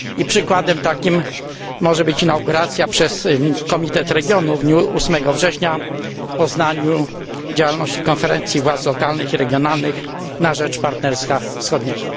Przykładem takim może być inauguracja przez Komitet Regionów w dniu 8 września w Poznaniu działalności Konferencji Władz Lokalnych i Regionalnych na rzecz Partnerstwa Wschodniego.